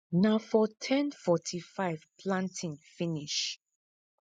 na for ten fortyfive planting finish